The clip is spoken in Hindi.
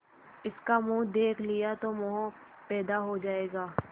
इसका मुंह देख लिया तो मोह पैदा हो जाएगा